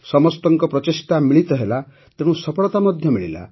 ସମସ୍ତଙ୍କ ପ୍ରଚେଷ୍ଟା ମିଳିତ ହେଲା ତେଣୁ ସଫଳତା ମଧ୍ୟ ମିଳିଲା